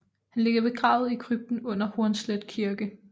Han ligger begravet i krypten under Hornslet Kirke